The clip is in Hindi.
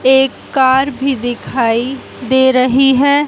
एक कार भी दिखाई दे रही है।